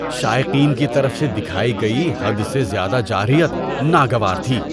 شائقین کی طرف سے دکھائی گئی حد سے زیادہ جارحیت ناگوار تھی۔